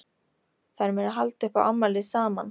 Þær munu halda upp á afmælið saman.